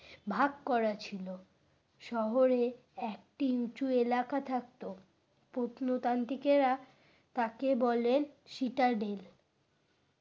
ভাগ করা ছিল শহরে একটি উঁচু এলাকা থাকতো প্রত্নতান্ত্রিকেরা তাকে বলেন সিটাডেল।